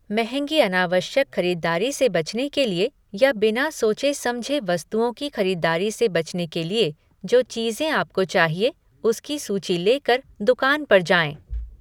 महँगी अनावश्यक खरीदारी से बचने के लिए या बिना सोचे समझे वस्तुओं की खरीदारी से बचने के लिए, जो चीज़ें आपको चाहिए, उसकी सूची लेकर दुकान पर जाएं।